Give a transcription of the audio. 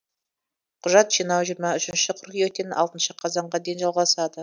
құжат жинау жиырма үшінші қыркүйектен алтыншы қазанға дейін жалғасады